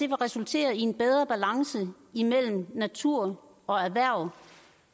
vil resultere i en bedre balance imellem natur og erhverv